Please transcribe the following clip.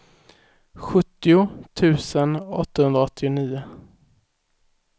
sjuttio tusen åttahundraåttionio